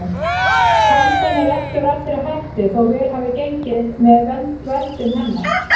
Pandan er ekki úr allri hættu þó vel hafi gengið með verndun hennar.